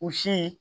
U si